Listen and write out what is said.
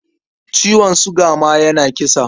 Ciwon suga ma yana kisa.